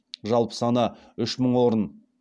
жалпы саны үш мың орын